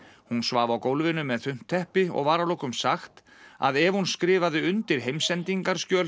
hún svaf á gólfinu með þunnt teppi og var að lokum sagt að ef hún skrifaði undir